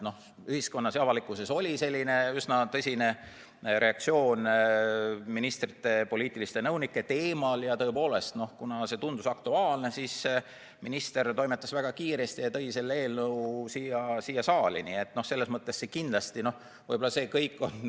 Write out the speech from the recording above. Ühiskonnas, avalikkuses oli üsna tõsine reageering ministrite poliitiliste nõunike teemale ja kuna see tundus aktuaalne, siis minister toimetas väga kiiresti ja tõi selle eelnõu siia saali.